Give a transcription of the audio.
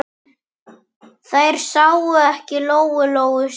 Þær sáu ekki Lóu-Lóu strax.